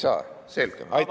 Vabas mikrofonis on viis minutit.